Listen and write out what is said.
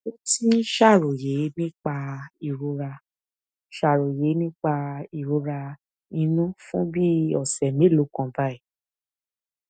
ó ti ń ṣàròyé nípa ìrora ṣàròyé nípa ìrora inú fún ọsẹ bíi mélòó kan báyìí